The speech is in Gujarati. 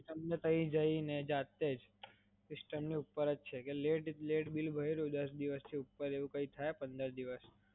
તમને ત્યાં જઈને, જાતે જ, લિસ્ટલ ની ઉપર જ છે કે લેટ બિલ ભર્યું દસ દિવસ થી ઉપર એવું કાઇ થાય પંદર દિવસ